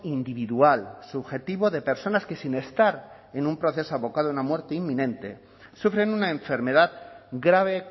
individual subjetivo de personas que sin estar en un proceso abocado a una muerte inminente sufren una enfermedad grave